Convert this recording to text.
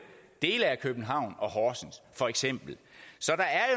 dele af københavn og horsens for eksempel så der er